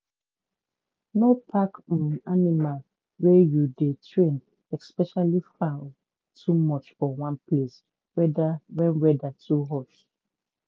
no pack um animal wey you dey train especially fowl too much for one place whether wen weather too hot.